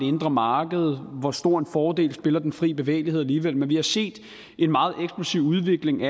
indre marked og hvor stor en fordel den fri bevægelighed alligevel er men vi har set en meget eksplosiv udvikling